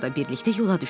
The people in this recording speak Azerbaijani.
Birlikdə yola düşdülər.